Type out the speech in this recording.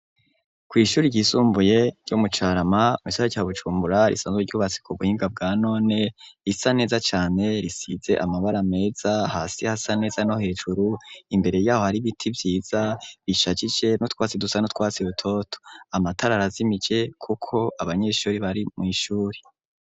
Kw'ishure ry'isumbuye ryo mucarama mu gisaka ca Bujumbura risanzwe ryubatse ku buhinga bwanone risa neza cane risize amabara meza hasi hasa neza no hejuru imbere yaho hari ibiti vyiza bishajije nutwasi dusajije nutwasi dutoto amatara arazimije kuko abanyeshure bari mu ishure.